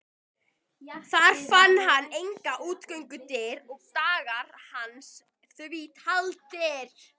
Þar fann hann engar útgöngudyr og dagar hans því taldir.